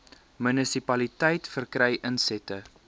munisipaliteit verkry insette